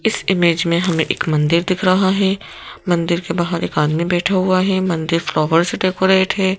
इस इमेज में हमें एक मंदिर दिख रहा है मंदिर के बाहर एक आदमी बैठा हुआ है मंदिर फ्लावर से डेकोरेट है।